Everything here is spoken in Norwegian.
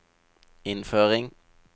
innføring